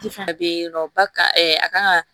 fana bɛ yen nɔ ba kan a kan ka